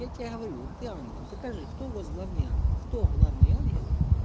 я тебе говорю ты ангел покажи кто у вас главный ангел кто главный ангел